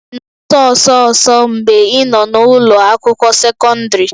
Ị na-agba ọsọ ọsọ ọsọ mgbe ị nọ n'ụlọ akwụkwọ sekọndrị?